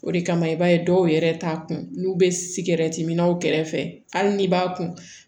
O de kama i b'a ye dɔw yɛrɛ t'a kun n'u be minw kɛrɛfɛ hali n'i b'a kun